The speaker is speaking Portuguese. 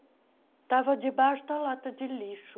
Estava debaixo da lata de lixo.